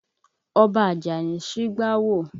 Ọba Àjàní ṣígbá wò.